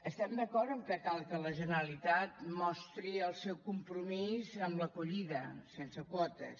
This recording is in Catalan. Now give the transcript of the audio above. estem d’acord que cal que la generalitat mostri el seu compromís amb l’acollida sense quotes